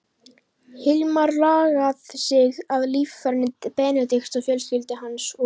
Hilmar lagað sig að líferni Benedikts og fjölskyldu hans og